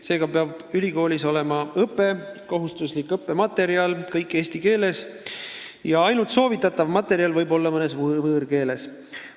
Seega peavad ülikoolis õpe ja kohustuslikud õppematerjalid olema eesti keeles ja ainult soovitatav materjal võib olla mõnes võõrkeeles.